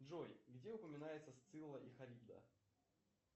джой где упоминается сцилла и харибда